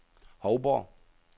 Hovborg